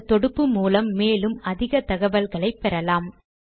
இந்த தொடுப்பு மூலம் மேலும் அதிக தகவல்களை பெறலாம்